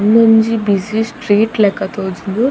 ಉಂದೊಂಜಿ busy street ಲೆಕ್ಕ ತೋಜುಂಡು.